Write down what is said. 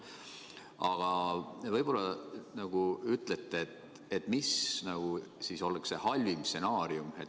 Aga võib-olla ütlete, mis oleks halvim stsenaarium.